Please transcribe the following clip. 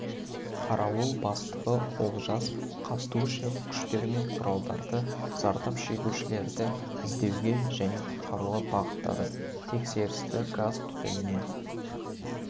қарауыл бастығы олжас қабдушев күштер мен құралдарды зардап шегушілерді іздеуге және құтқаруға бағыттады тексерісті газ түтіннен